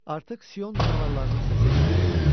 Artıq Sion canavarlarının səsi eşidilirdi.